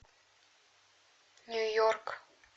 нью йорк